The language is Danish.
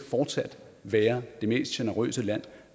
være det mest generøse land